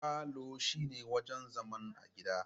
Falo shine wajan zaman a gida